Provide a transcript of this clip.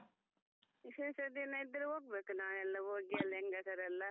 ವಿಶೇಷ ದಿನ ಇದ್ರೆ ಹೋಗ್ಬೇಕು ನಾವೆಲ್ಲ ಹೋಗಿ ಹೆಂಗಸರೆಲ್ಲಾ.